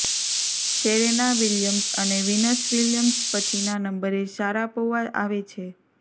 Serena Williams અને Venus Williams પછીના નંબરે શારાપોવા આવે છે